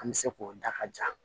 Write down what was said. An bɛ se k'o da ka ja